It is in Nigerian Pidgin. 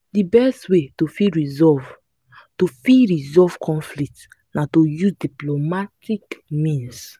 di best way to fit resolve to fit resolve conflict na to use diplomatic means